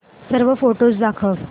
सर्व फोटोझ दाखव